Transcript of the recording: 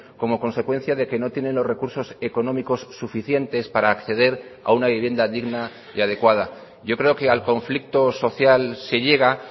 como consecuencia de que no tienen los recursos económicos suficientes para acceder a una vivienda digna y adecuada yo creo que al conflicto social se llega